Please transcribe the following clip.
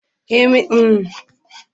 Emeka da kyaftin din kungiyar suna cikin rudani